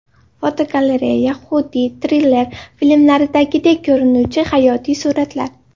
Fotogalereya: Xuddi triller filmlaridagidek ko‘rinuvchi hayotiy suratlar.